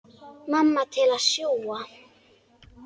Mamma til að sjúga.